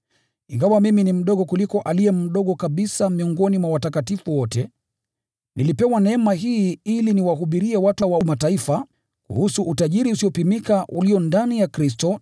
Ingawa mimi ni mdogo kuliko aliye mdogo kabisa miongoni mwa watakatifu wote, nilipewa neema hii: ili niwahubirie watu wa Mataifa kuhusu utajiri usiopimika ulio ndani ya Kristo,